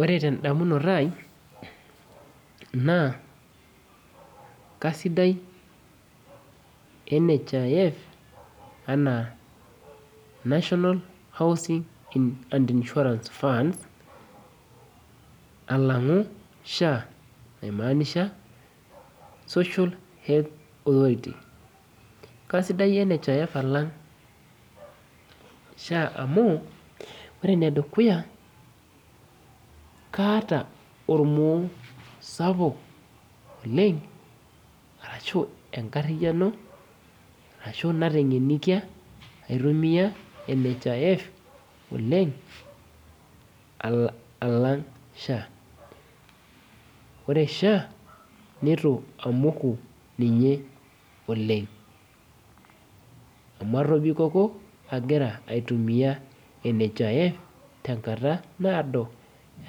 Ore tondamunot aai na kasidai nhif anaa nationalal housing and insurance fund alangu sha aimaanisha social health insurance kaisidai nhif alang sha amu ore enedukuya kaata ormor sapuk oleng ashu enkariano ashu natengeniaka aitumia nhif alang sha ore sha nitu amoku ninye oleng amu atobikoko agira aitumia nhif tenkata naado